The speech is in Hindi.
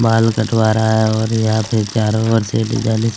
बाल कटवा रहा है और यहाँ पे चारो ओर से डिजाईनिस --